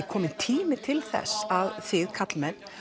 kominn tími til að þið karlmenn